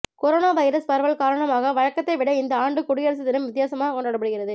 corona virus பரவல் காரணமாக வழக்கத்தை விட இந்த ஆண்டு குடியரசு தினம் வித்தியாசமாக கொண்டாடப்படுகிறது